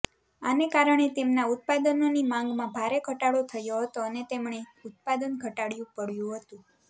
આને કારણે તેમના ઉત્પાદનોની માંગમાં ભારે ઘટાડો થયો હતો અને તેમણે ઉત્પાદન ઘટાડવું પડ્યું હતું